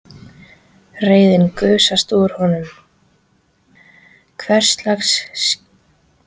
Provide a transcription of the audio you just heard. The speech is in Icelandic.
Reiðin gusast út úr honum: Hverslags klisja er það?